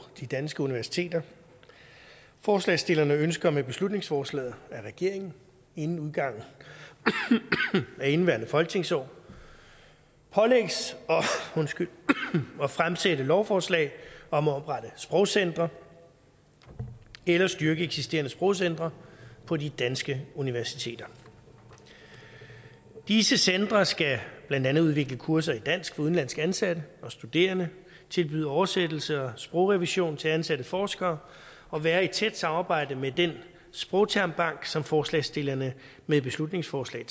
de danske universiteter forslagsstillerne ønsker med beslutningsforslaget at regeringen inden udgangen af indeværende folketingsår pålægges at fremsætte lovforslag om at oprette sprogcentre eller styrke eksisterende sprogcentre på de danske universiteter disse centre skal blandt andet udvikle kurser i dansk for udenlandske ansatte og studerende tilbyde oversættelse og sprogrevision til ansatte forskere og være i tæt samarbejde med den sprogtermbank som forslagsstillerne med beslutningsforslag